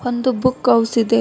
ಒಂದು book house ಇದೆ.